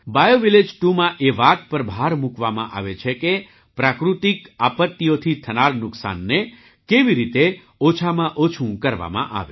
biovillage 2માં એ વાત પર ભાર મૂકવામાં આવે છે કે પ્રાકૃતિક આપત્તિઓથી થનારા નુકસાનને કેવી રીતે ઓછામાં ઓછું કરવામાં આવે